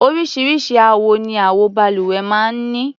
Oríṣiríṣi àwọ ni àwo-balùwẹ̀ máa ń ní.